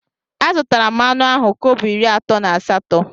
Azutara m anụ ahụ kobo iri atọ na asatọ.